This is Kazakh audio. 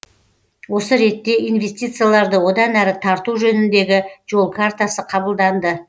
осы ретте инвестицияларды одан әрі тарту жөніндегі жол картасы қабылданды